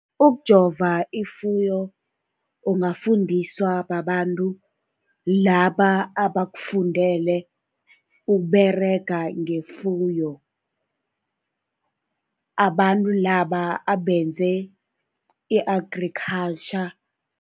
Ukujova ifuyo ungafundiswa babantu laba abakufundele ukuberega ngefuyo, abantu laba abenze i-agriculture.